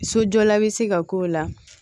Sojɔla be se ka k'o la